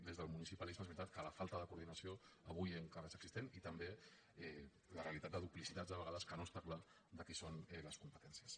des del municipalisme és veritat que la falta de coordinació avui encara és existent i també la realitat de duplicitats de vegades que no està clar de qui són les competències